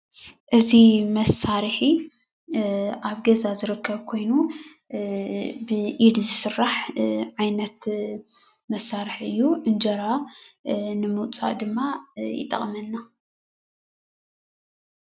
እዚ መሳርሒ ኣብ ገዛ ዝርከብ ኮይኑ ብኢድ ዝስራሕ ዓይነት መስርሕ እዩ እንጀራ ንምውፃእ ድማ ይጥቕመና።